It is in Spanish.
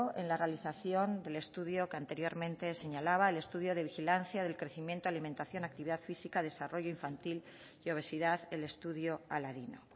en la realización del estudio que anteriormente señalaba el estudio de vigilancia del crecimiento alimentación actividad física desarrollo infantil y obesidad el estudio aladino